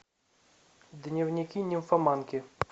дневники нимфоманки